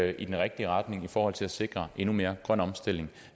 i den rigtige retning i forhold til at sikre endnu mere grøn omstilling